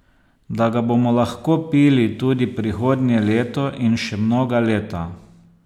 Da ga bomo lahko pili tudi prihodnje leto in še mnoga leta.